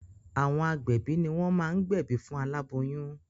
Àwọn agbẹ̀bí ní wọ́n máá gbẹ̀bí fún aláboyún.